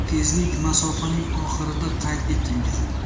Tezlik masofaning oxirida qayd etilgan.